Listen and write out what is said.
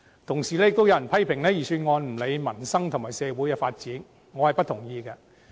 同時，有人批評預算案不理民生和社會發展，我並不同意。